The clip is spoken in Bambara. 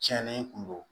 Tiɲɛnen kun don